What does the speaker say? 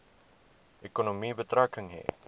ekonomie betrekking hê